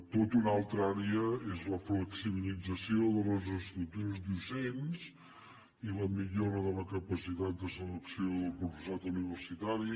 tota una altra àrea és la flexibilització de les estructures docents i la millora de la capacitat de selecció del professorat universitari